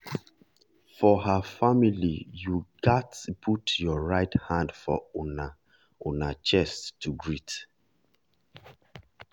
for her familyyou gats put your right hand for una una chest to greet.